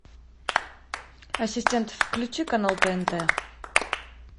ассистент включи канал тнт